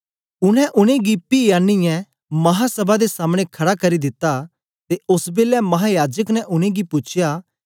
उनै उनेंगी पी आनीयै महासभा दे सामने खड़ा करी दिता ते ओस बेलै महायाजक ने उनेंगी पूछया